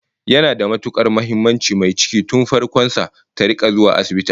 Yana da matukar muhimmanci mai ciki tun farkon sa ta rika zuwa asibiti awo